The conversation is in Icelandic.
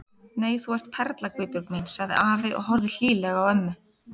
Nei, þú ert perla Guðbjörg mín sagði afi og horfði hlýlega á ömmu.